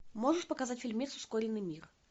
можешь показать фильмец ускоренный мир